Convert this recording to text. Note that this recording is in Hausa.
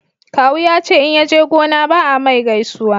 kawu ya ce in yaje gona ba a mai gaisuwa